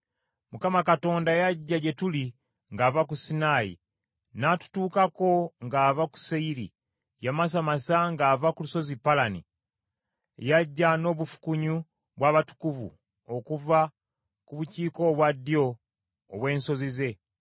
Yagamba nti, “ Mukama Katonda yajja gye tuli ng’ava ku Sinaayi n’atutuukako ng’ava ku Seyiri; yamasamasa ng’ava ku Lusozi Palani. Yajja n’obufukunya bw’abatukuvu okuva ku bukiika obwaddyo obw’ensozi ze.